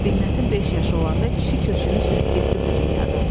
Binnətin beş yaşı olanda kişi köçünü sürüb getdi bu dünyadan.